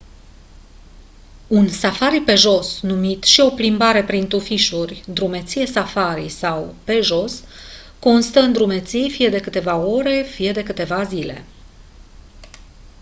un safari pe jos numit și «o plimbare prin tufișuri» «drumeție safari» sau «pe jos» constă în drumeții fie de câteva ore fie de câteva zile.